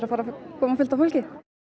koma fullt af fólki